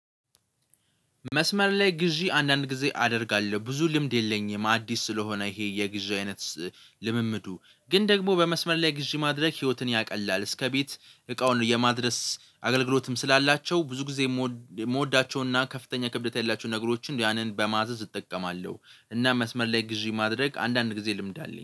መስመር ላይ ግዢ አንዳንድ ጊዜ አደርጋለሁ ብዙ ልምድ የለኝም አዲስ ስለሆነ ይሄ የግዢ አይነት። ልምምዱ ግን ደግሞ በመስመር ላይ ግዢ ማድረግ ህይወትን ያቀላል እስከቤት እቃውን የማድረስ አገልግሎትም ስላላቸው ብዙ ጊዜ የምወዳቸውና ከፍተኛ ክብደት ያላቸውን ነገሮችን ያንን በማዘዝ እጠቀማለሁ እና መስመር ላይ ግዢ ማድረግ አንዳንድ ጊዜ ልምድ አለኝ